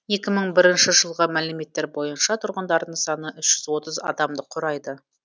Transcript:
екі мың бірінші жылғы мәліметтер бойынша тұрғындарының саны үш жүз отыз адамды құрайды